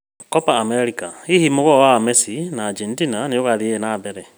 Kopa Amerika: hihi mũgoo wa messi na Argentina nĩũgũthiĩ na mbere?